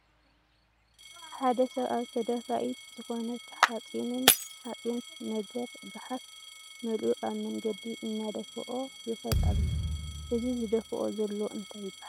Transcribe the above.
ሓደ ሰብ ኣብ ተደፋኢት ዝኮነት ሓፂን ነገር ጋሓፍ መሊኡ ኣብ መንገዲ እናደፍኦ ይከድ ኣሎ ። እዚ ዝደፍኦ ዘሎ እንታይ ይበሃል ?